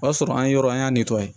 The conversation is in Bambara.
O y'a sɔrɔ an ye yɔrɔ an y'a